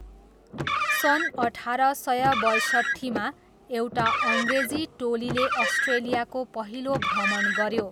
सन् अठार सय बयसट्ठीमा, एउटा अङ्ग्रेजी टोलीले अस्ट्रेलियाको पहिलो भ्रमण गऱ्यो।